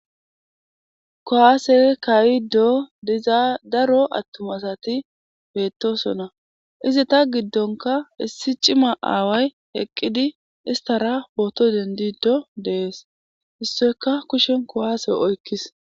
kowaase kayido diza daro attumasati beettosona izi ta giddonka issi cima aaway eqqidi istara pooto dendido deees issoyka kushen kowaase oykkis